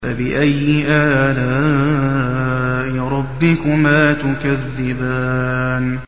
فَبِأَيِّ آلَاءِ رَبِّكُمَا تُكَذِّبَانِ